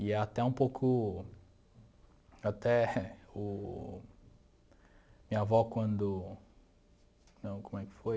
E até um pouco... até o... minha avó quando... não, como é que foi?